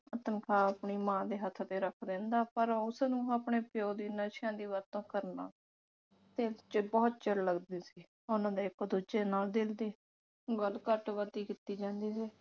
ਤਨਖਾਹ ਆਪਣੀ ਮਾਂ ਦੇ ਹੱਥ ਤੇ ਰੱਖ ਦਿੰਦਾ ਪਰ ਉਸਨੂੰ ਆਪਣੇ ਪਿਉ ਦੀ ਨਸ਼ਿਆਂ ਦੀ ਵਰਤੋਂ ਕਰਨਾ ਤੇ ਬਹੁਤ ਚਿੜ ਲੱਗਦੀ ਸੀ ਉਹਨਾਂ ਨੇ ਇਕ ਦੂਜੇ ਨਾਲ ਦਿਲ ਦੀ ਗੱਲ ਘੱਟ ਵੱਧ ਕੀਤੀ ਜਾਂਦੀ ਸੀ।